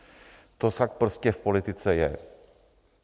To tak prostě v politice je.